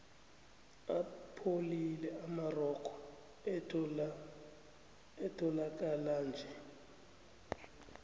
apholile amarogo etholakalanje